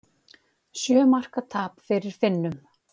Sjö marka tap fyrir Finnum